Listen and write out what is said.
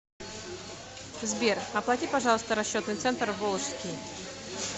сбер оплати пожалуйста расчетный центр волжский